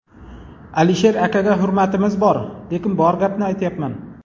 Alisher akaga hurmatimiz bor, lekin bor gapni aytyapman.